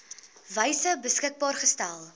wyse beskikbaar gestel